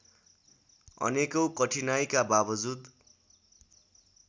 अनेकौं कठिनाइका बावजुद